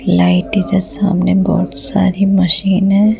Light के सामने बहोत सारी मशीन है।